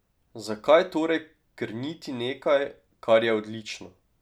Zakaj torej krniti nekaj, kar je odlično?